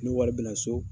Ni wari bɛna so